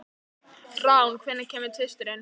Rán, hvenær kemur tvisturinn?